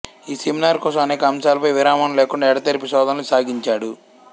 ఈ సెమినార్ కోసం అనేక అంశాలపై విరామం లేకుండా ఎడతెరిపి శోధనలు సాగించాడు